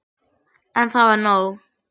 En það var nóg.